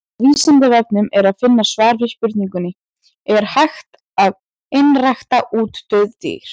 Á Vísindavefnum er að finna svar við spurningunni Er hægt að einrækta útdauð dýr?